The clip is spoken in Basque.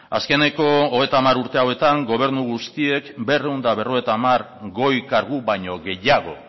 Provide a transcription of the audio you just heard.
azkeneko hogeita hamar urte hauetan gobernu guztiek berrehun eta berrogeita hamar goi kargu baino gehiago